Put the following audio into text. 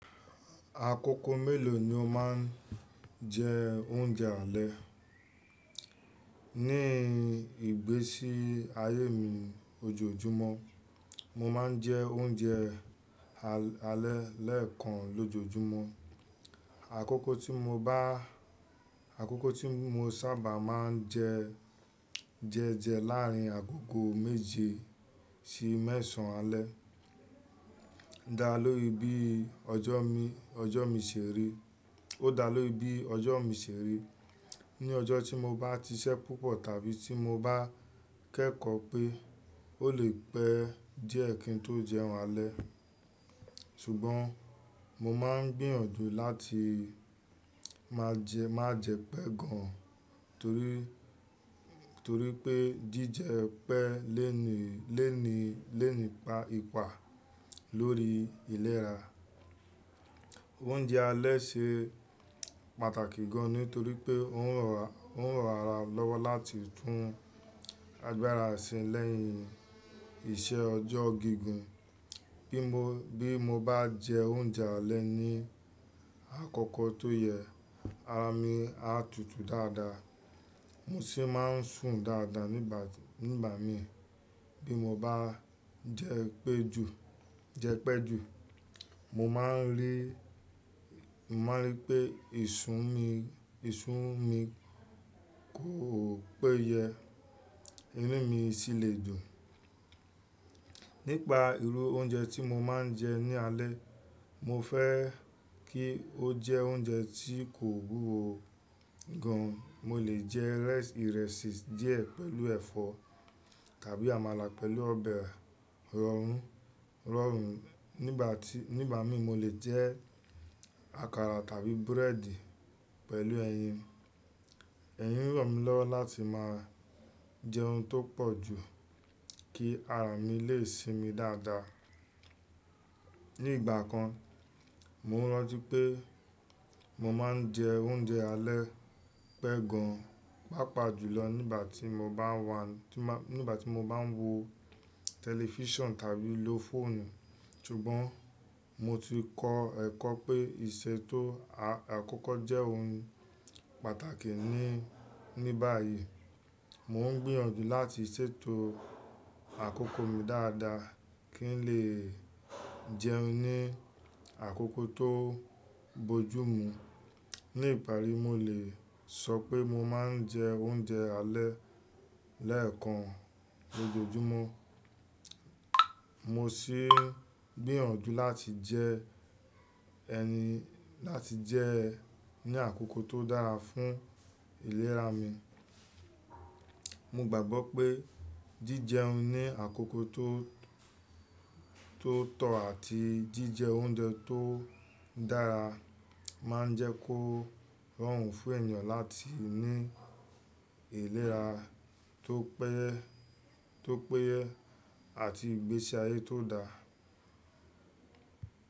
Àkókò mélòó ni o máa ń jẹ oúnjẹ alẹ́? Ní ìgbésí ayé mi ojoojúmọ́, mo máa ń jẹ oúnjẹ alẹ́ lẹ́ẹ̀kan lójoojúmọ́. Àkókò tí mo bá, àkókò tí mo sábà máa ń jẹ jẹjẹ láàrin àkókò méje sí mẹ́sàn alẹ́. Dá lóri bí ọjọ́ mi, ọjọ́ mi ṣe rí. Ó dá lóri bí ọjọ́ mi ṣe rí. Ni ọjọ́ tí mo bá ti iṣẹ́ púpọ̀ tàbí tí mo bá kẹ́kọ̀ọ́ pé ó lè pẹ́ díẹ̀ kí n tó jẹun alẹ́. Ṣùgbọ́n mo máa ń gbìyànjú láti má jẹ́, má jẹ pẹ́ gan torí, torí pé jíjẹ pẹ́ léèní, léèní, léèní pa ipa lórí ìlera. Oúnjẹ alẹ́ ṣe pàtàkì gan ni torí pé ó ń rọ̀, ó ń ran ara lọ́wọ́ láti tún agbára sin lẹ́yìn iṣẹ́ ọjọ́ gígùn. Bí mo, bí mo bá jẹ oúnjẹ alẹ́ ní àkókò tó yẹ, ara mi á tutù dáadáa, mo sì máa ń sùn dáadáa nígbà, nígbà mín. Bí mo bá jẹ pẹ́ ju, jẹ pẹ́ ju, mo máa ń rí, mo máa ń rí pé ìṣún mi, ìṣún mi kò péye, inú mi sì lè dùn. Nípa irú oúnjẹ tí mo máa ń jẹ ní alẹ́, mo fẹ́ kí ó jẹ oúnjẹ tí kò wuwo gan. Mo lè jẹ ìrẹsì díẹ̀ pẹ̀lú ẹ̀fọ́ tàbí àmàlà pẹ̀lú ọbẹ̀ rọrùn, rọrùn. Nígbà tí, nígbà mín mo lè jẹ àkàrà tàbí búrẹ́dì pẹ̀lú ẹyin. Ẹyi n ń ràn mí lọ́wọ́ láti máa jẹ oun tó pọ̀ jù kí ara mi lè sinmi dáadáa. Ní ìgbà kan, mo rántí pé mo máa ń jẹ oúnjẹ alẹ́ pẹ́ gan, pàápàá jùlọ nígbà tí mo bá ń wa, nígbà tí mo bá ń wo tẹlifíṣàn tàbí lo fóònù. Ṣùgbọ́n mo ti kọ ẹ̀kọ́ pé ìṣètò àkókò jẹ́ ohun pàtàkì ní, ní báyìí. Mo ń gbìyànjú láti ṣètò àkókò mi dáadáa kí n lè jẹun ní àkókò tó bojú mu. Ní ìparí, mo lè sọ pé mo máa ń jẹ oúnjẹ alẹ́ lẹ́ẹ̀kan lójoojúmọ́. Mo sì ń gbìyànjú láti jẹ ẹni, láti jẹ ní àkókò tó dára fún ìlera mi. Mo gbàgbọ́ pé jíjẹun ní àkókò tó, tó tọ̀ àti jíjẹ oúnjẹ tó dára máa ń jẹ́ kó rọrùn fún ènìyàn láti ní ìlera tó péye, tó péye àti ìgbésí ayé tó da.